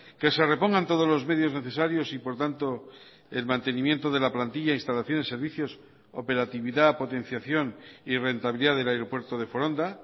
que se repongan todos los medios necesarios y por tanto el mantenimiento de la plantilla instalaciones servicios operatividad potenciación y rentabilidad del aeropuerto de foronda